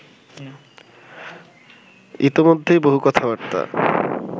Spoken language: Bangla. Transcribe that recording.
ইতোমধ্যেই বহু কথাবার্তা